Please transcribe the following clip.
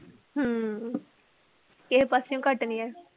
ਹਮ ਕਿਸੇੇ ਪਾਸਿਓਂ ਘੱਟ ਨੀ ਏ।